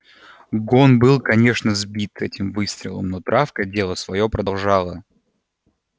гон был конечно сбит этим выстрелом но травка дело своё продолжала